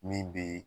Min bɛ